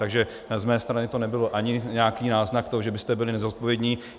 Takže z mé strany to nebyl ani nějaký náznak toho, že byste byli nezodpovědní.